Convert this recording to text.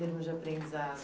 termos de aprendizado.